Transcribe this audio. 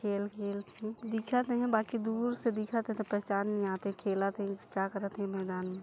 खेल खेलथैं दिखत नहीं है बाकि दूर से दिखत है त पेहचान नहीं आत है खेलत है की का करत है मैदान म--